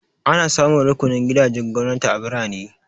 Ana samun rukunin gidajen gwamnati a birane.